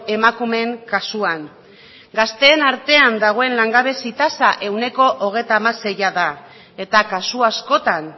emakumeen kasuan gazteen artean dagoen langabezi tasa ehuneko hogeita hamaseia da eta kasu askotan